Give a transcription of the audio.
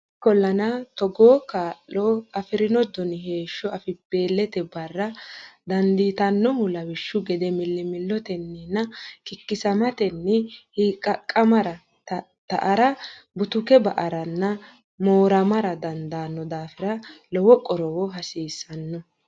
Ikkollana togoo kaa lo afi rino doni heeshsho afibbeelte ba ara dandiitannohu lawishshu gede millimillotenninna kikkisamatenni hiiqqaqqamara tatta ara butuke ba aranna mooramara dandaanno daafira lowo qorowo hasiissanno.